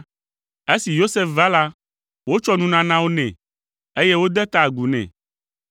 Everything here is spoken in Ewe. Esi Yosef va la, wotsɔ nunanawo nɛ, eye wode ta agu nɛ.